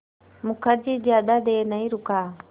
मुखर्जी ज़्यादा देर नहीं रुका